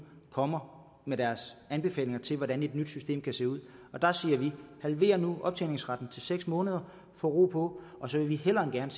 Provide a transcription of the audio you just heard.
kommer med deres anbefalinger til hvordan et nyt system kan se ud og der siger vi halvér nu optjeningsretten til seks måneder få ro på og så vil vi hellere end gerne